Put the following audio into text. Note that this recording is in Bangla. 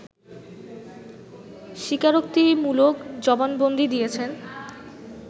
স্বীকারোক্তিমূলক জবানবন্দি দিয়েছেন